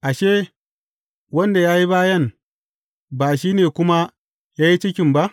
Ashe, wanda ya yi bayan, ba shi ne kuma ya yi cikin ba?